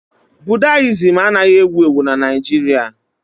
Budayịzim anaghị ewu ewu na Naịjirịa